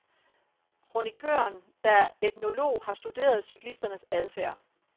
Kronikøren, der er etnolog, har studeret cyklisternes adfærd.